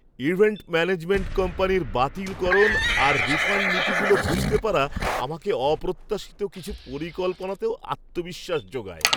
Event management কোম্পানির বাতিলকরণ আর রিফাণ্ড নীতিগুলো বুঝতে পারা আমাকে অপ্রত্যাশিত কিছু পরিকল্পনাতেও আত্মবিশ্বাস জোগায়।